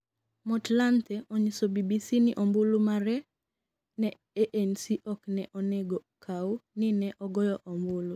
Motlanthe onyiso BBC ni ombulu mare ne ANC ok ne onego kaw ni ne ogoyo ombulu